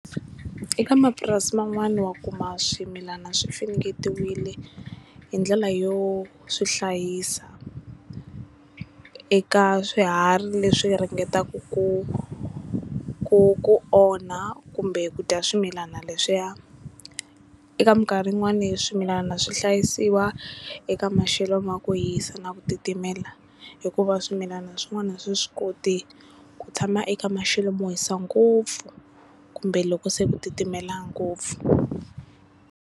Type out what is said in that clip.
Eka mapurasi man'wana wa kuma swimilana swi finingetiwile hi ndlela yo swi hlayisa eka swiharhi leswi ringetaka ku ku ku onha kumbe ku dya swimilana leswiya eka minkarhi yin'wana swimilana swi hlayisiwa eka maxelo ma ku yisa na ku titimela hikuva swimilana swin'wana a swi swi koti ku tshama eka maxelo mo hisa ngopfu kumbe loko se ku titimela ngopfu.